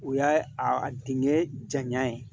O y'a a dingɛ janya ye